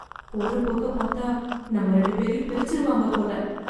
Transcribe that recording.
போற போக்க பாத்தா நம்ம ரெண்டு பேரையும் பிரிச்சுருவாங்க போல.